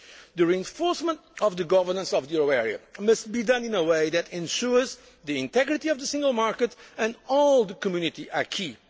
The reinforcement of the governance of the euro area must be done in a way that ensures the integrity of the Single Market and the whole Community acquis.